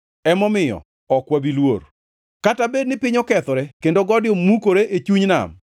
Emomiyo ok wabi luor, kata bed ni piny okethore kendo gode mukore e chuny nam,